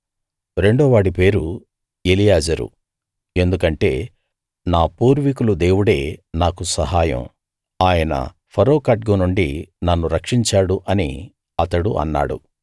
రెండో వాడి పేరు ఎలియాజరు ఎందుకంటే నా పూర్వీకులు దేవుడే నాకు సహాయం ఆయన ఫరో ఖడ్గం నుండి నన్ను రక్షించాడు అని అతడు అన్నాడు